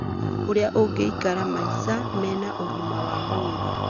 ũrĩa ũngĩikara maica mena ũgima wa mwĩrĩ